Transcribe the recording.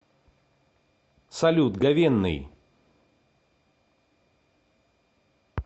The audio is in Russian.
салют говенный